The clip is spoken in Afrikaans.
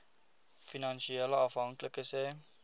finansiële afhanklikes hê